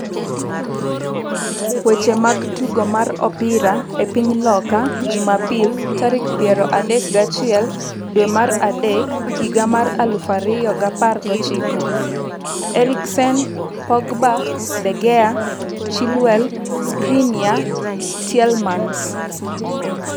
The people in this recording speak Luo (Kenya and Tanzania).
Weche mag tugo mar opira e piny loka Jumapil tarik piero adek gi achiel dwe mar adek higa mar aluf ariyo gi apar gochiko: Eriksen, Pogba, De Gea, Chilwell, Skriniar, Tielemans